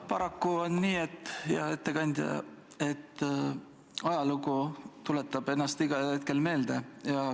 Paraku on nii, hea ettekandja, et ajalugu tuletab ennast igal hetkel meelde.